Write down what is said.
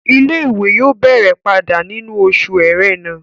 Ilé-ìwé yóò bẹ̀rẹ̀ padà nínú oṣù ẹrẹ́nà